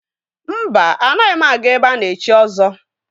Mba, anaghị m aga ebe a na-echi ọzọ.